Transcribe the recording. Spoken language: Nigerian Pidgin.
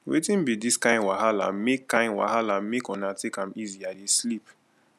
wetin be dis kin wahalamake kin wahalamake una take am easy i dey sleep